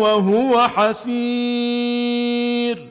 وَهُوَ حَسِيرٌ